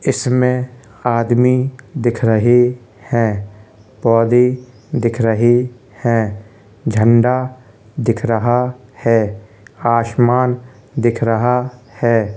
इसमें आदमी दिख रहे है। पौधे दिख रहे है। झंडा दिख रहा है। आसमान दिख रहा है।